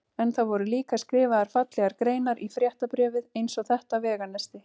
En það voru líka skrifaðar fallegar greinar í fréttabréfið eins og þetta veganesti